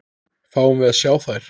Fáum við að sjá þær?